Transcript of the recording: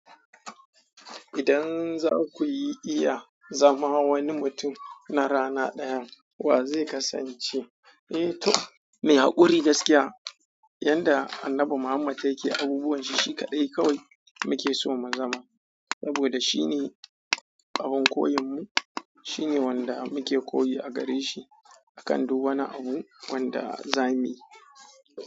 Idan za ku yi iya zama wani mutum na rana ɗaya, wa zai kasance? Eh to, mai haƙuri gaskiya, yanda Annabi Muhammad yake abubuwan shi shi kaɗai kawai muke so mu zama. Saboda shine ƙahon koyon mu, shine wanda muke koyi a gare shi. A kan duk wani abu wanda za mu yi.